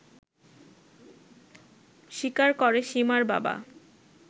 স্বীকার করে সীমার বাবা